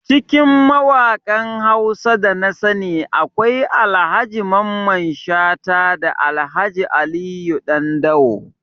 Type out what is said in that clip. Cikin mawakan Hausa da nasani akwai Ahaji Mamman Shata da Alhaji Aliyu Dandawo